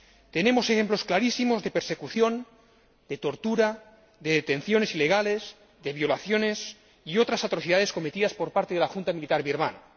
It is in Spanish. Tenemos ejemplos clarísimos de persecución, de tortura, de detenciones ilegales, de violaciones y otras atrocidades cometidas por parte de la Junta militar birmana.